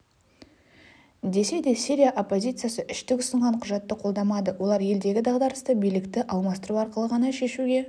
десе де сирия оппозициясы үштік ұсынған құжатты қолдамады олар елдегі дағдарысты билікті алмастыру арқылы ғана шешуге